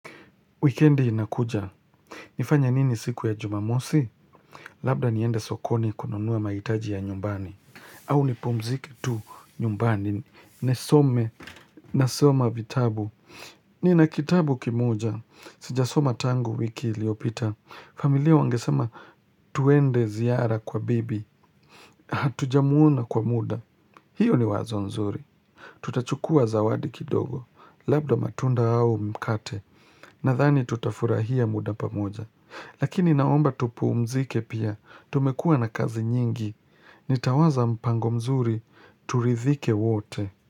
Wikendi inakuja. Nifanye nini siku ya jumamosi? Labda niende sokoni kununua mahitaji ya nyumbani. Au nipumzike tu nyumbani. Nisome. Nasoma vitabu. Nina kitabu kimoja. Sijasoma tangu wiki iliyopita. Familia wangesama tuende ziara kwa bibi. Hatujamuona kwa mda. Hiyo ni wazo nzuri. Tutachukua zawadi kidogo. Labda matunda au mkate. Nadhani tutafurahia mda pamoja. Lakini naomba tupumzike pia, tumekua na kazi nyingi, nitawaza mpango mzuri, turidhike wote.